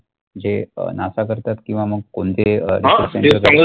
जे अं NASA करतात किंवा मग कोणीतरी